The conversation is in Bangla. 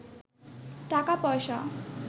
টাকা পয়সা